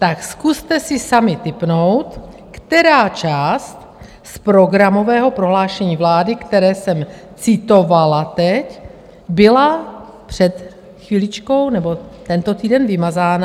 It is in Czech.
Tak zkuste si sami tipnout, která část z programového prohlášení vlády, které jsem citovala teď, byla před chviličkou - nebo tento týden - vymazána.